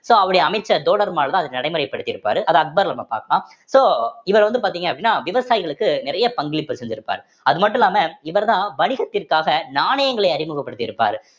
so அவருடைய அமைச்சர் தோடர்மால்தான் அதை நடைமுறைப்படுத்தி இருப்பாரு அத அக்பர்ல நம்ம பார்க்கலாம் so இவர் வந்து பார்த்தீங்க அப்படின்னா விவசாயிகளுக்கு நிறைய பங்களிப்பு செஞ்சிருப்பாரு அது மட்டும் இல்லாம இவர்தான் வணிகத்திற்காக நாணயங்களை அறிமுகப்படுத்தி இருப்பாரு